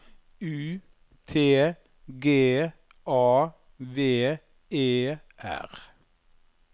U T G A V E R